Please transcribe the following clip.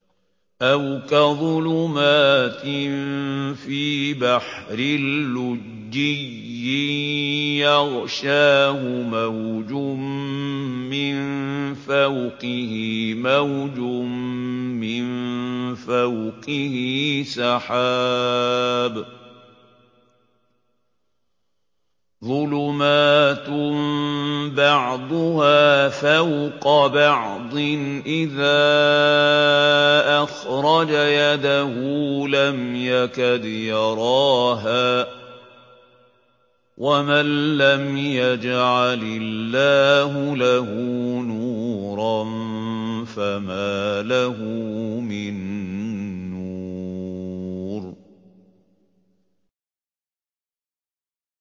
أَوْ كَظُلُمَاتٍ فِي بَحْرٍ لُّجِّيٍّ يَغْشَاهُ مَوْجٌ مِّن فَوْقِهِ مَوْجٌ مِّن فَوْقِهِ سَحَابٌ ۚ ظُلُمَاتٌ بَعْضُهَا فَوْقَ بَعْضٍ إِذَا أَخْرَجَ يَدَهُ لَمْ يَكَدْ يَرَاهَا ۗ وَمَن لَّمْ يَجْعَلِ اللَّهُ لَهُ نُورًا فَمَا لَهُ مِن نُّورٍ